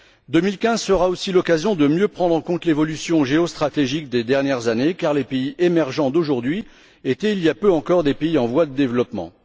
2015 sera aussi l'occasion de mieux prendre en compte l'évolution géostratégique des dernières années, car les pays émergents d'aujourd'hui étaient, il y a peu encore, des pays en voie de développement.